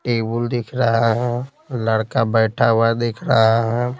Table दिख रहा है लड़का बैठा हुआ दिख रहा है।